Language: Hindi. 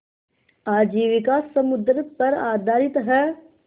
आजीविका समुद्र पर आधारित है